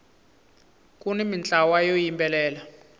kuni mintlawa yo yimbelela